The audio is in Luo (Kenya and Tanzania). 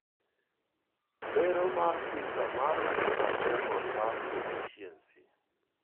Lero mar PISA mar minimum level mar proficiency.